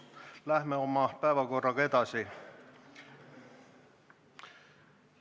Läheme oma päevakorraga edasi.